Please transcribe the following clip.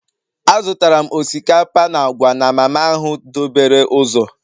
Azụtara m osikapa na agwa na mama ahụ dobere ụzọ